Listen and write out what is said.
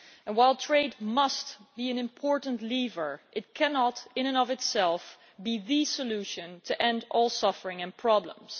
While trade must be an important lever, it cannot in and of itself be the solution to end all suffering and problems.